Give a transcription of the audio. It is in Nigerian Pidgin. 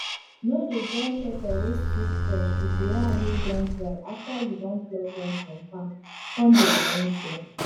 no dey join pepper wey still fresh with de ones wey don dry after you don pluck dem from farm con dey arrange dem